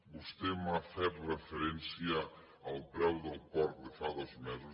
vostè m’ha fet referència al preu del porc de fa dos mesos